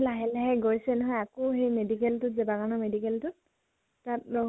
লাহে লাহে গৈছে নহয় আকৌ যেই medical টো জানানা medical টো তাত নহয়